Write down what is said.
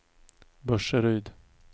Burseryd